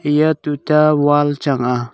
eya tuta wall chang a.